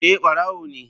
Eh barawo ne.